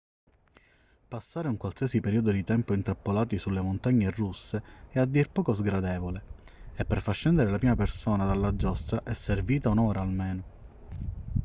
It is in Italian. passare un qualsiasi periodo di tempo intrappolati sulle montagne russe è a dir poco sgradevole e per far scendere la prima persona dalla giostra è servita un'ora almeno